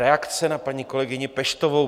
Reakce na paní kolegyni Peštovou.